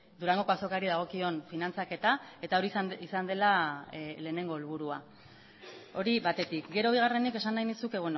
durangoko azokari dagokion finantzaketa eta hori izan dela lehenengo helburua hori batetik gero bigarrenik esan nahi nizuke